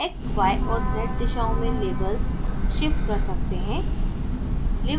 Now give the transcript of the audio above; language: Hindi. हम x y और z दिशाओं में labels shift कर सकते हैं